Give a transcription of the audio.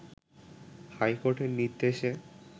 হাইকোর্টের নির্দেশে